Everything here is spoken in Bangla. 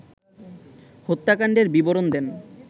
হত্যাকাণ্ডের বিবরণ দেন